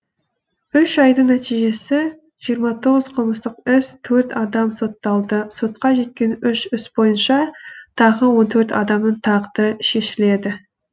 үш айдың нәтижесі жиырма тоғыз қылмыстық іс төрт адам сотталды сотқа жеткен үш іс бойынша тағы он төрт адамның тағдыры шешіледі